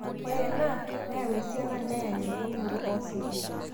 ore ena, neyaau esiana neyany empukunoto oosinkir